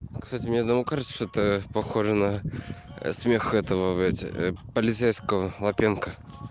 кстати мне одному кажется это похоже на смех этого блядь полицейского лапенко